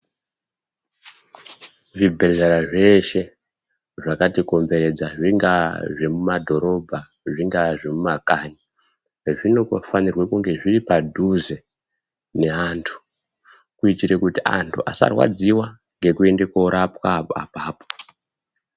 Zvibhedhlera zvese zvakatikomberedza zvingawa zvemudhorobha zvingawa zvemumakani zvinofanirwe kunge zviri padhuze nevandu kuitira kuti andu asarwadziwa ngekuende kunorapwa ipapapo .